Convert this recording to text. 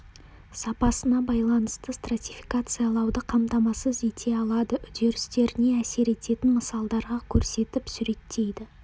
сапасына байланысты стратификациялауды қамтамасыз ете алады үдерістеріне әсер ететін мысалдарда көрсетіп суреттейді